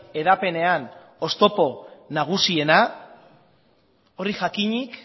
hedapenean oztopo nagusiena hori jakinik